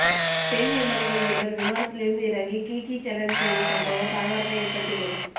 பெண் விமானிகள் இருவர் விமானத்திலிருந்து இறங்கி கிகி சேலஞ்ச் செய்த சம்பவம் பரபரப்பை ஏற்படுத்தியுள்ளது